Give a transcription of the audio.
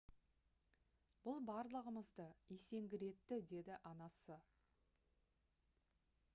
«бұл барлығымызды есеңгіретті» - деді анасы